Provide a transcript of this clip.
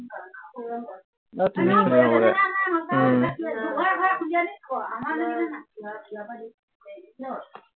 আৰু তিনি মিনিট